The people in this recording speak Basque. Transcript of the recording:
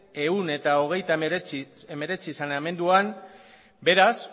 ehun eta hogeita hemeretzi saneamenduan beraz